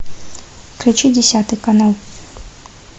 включи десятый канал